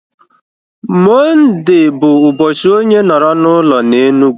Mọnde bụ ụbọchị onye nọrọ na ụlọ na Enugu